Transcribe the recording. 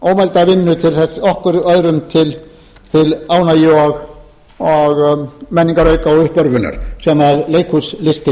sig ómælda vinnu okkur og öðrum til ánægju menningarauka og uppörvunar sem